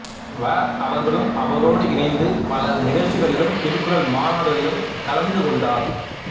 வ அவர்களும் அவரோடு இணைந்து பல நிகழ்ச்சிகளிலும் திருக்குறள் மாநாடுகளிலும் கவந்து கொண்டார்